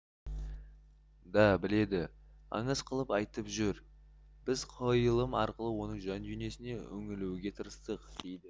да біледі аңыз қылып айтып жүр біз қойылым арқылы оның жан дүниесіне үңілуге тырыстық дейді